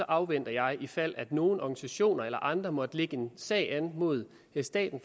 afventer jeg ifald nogle organisationer eller andre måtte lægge sag an mod staten